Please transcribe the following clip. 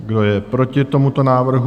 Kdo je proti tomuto návrhu?